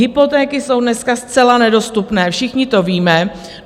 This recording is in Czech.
Hypotéky jsou dneska zcela nedostupné, všichni to víme.